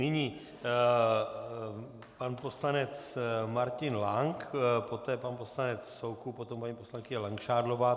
Nyní pan poslanec Martin Lank, poté pan poslanec Soukup, potom paní poslankyně Langšádlová.